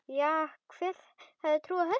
Já, hver hefði trúað þessu?